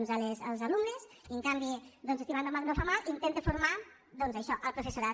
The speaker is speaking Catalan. els alumnes i en canvi estimar no fa mal intenta formar doncs això el professorat